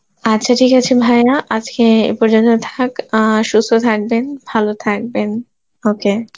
আচ্ছা ঠিক আছে ভাইয়া আজকে এ পর্যন্তই থাক, আর সুস্থ থাকবেন ভালো থাকবেন, okay